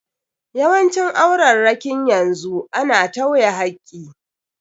Yawancin aurarrakin yanzu a na tawye hakki.